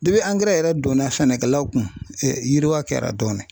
angɛrɛ yɛrɛ donna sɛnɛkɛlaw kun yiriwa kɛra dɔɔnin